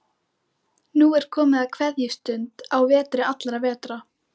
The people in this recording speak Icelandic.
Nú er komið að kveðjustund á vetri allra vetra.